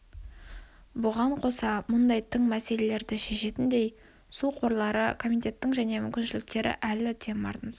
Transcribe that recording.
бұған қоса мұндай тың мәселелерді шешетіндей су қорлары комитетінің және мүмкіншіліктері әлі де мардымсыз